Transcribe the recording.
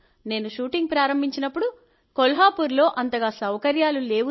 నేను షూటింగ్ ప్రారంభించినప్పుడు కొల్హాపూర్లో అంతగా సౌకర్యాలు లేవు